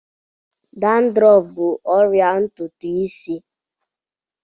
Dandrọf bụ ọrịa ntutu isí.